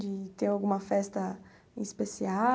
De ter alguma festa